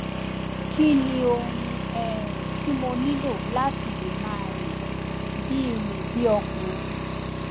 kí ni ohun um tí mo nílò láti lè máa rìn bí rìn bí ọkùnrin